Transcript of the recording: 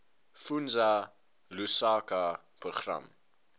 fundza lushaka program